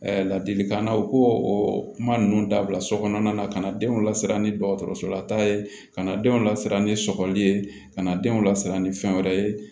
Ladilikan na u k'o kuma ninnu dabila so kɔnɔna na ka na denw lasiran ni dɔgɔtɔrɔsolata ye ka na denw lasiran ni sɔgɔli ye ka na denw lasiran ni fɛn wɛrɛ ye